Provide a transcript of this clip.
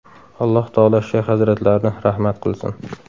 Alloh taolo shayx hazratlarini rahmat qilsin.